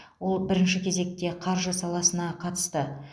ол бірінші кезекте қаржы саласына қатысты